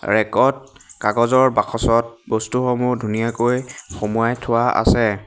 Rack ত কাগজৰ বাকচত বস্তুসমূহ ধুনীয়াকৈ সোমোৱাই থোৱা আছে।